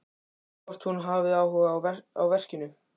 Hvort hún hafi áhuga á verkinu.